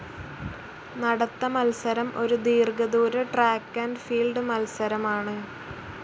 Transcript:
നടത്ത മത്സരം ഒരു ദീർഘ ദൂര ട്രാക്ക്‌ ആൻഡ്‌ ഫീൽഡ്‌ മത്സരമാണ്.